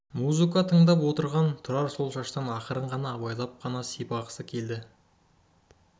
музыка тыңдап отырған тұрар сол шаштан ақырын ғана абайлап қана сипатысы келетін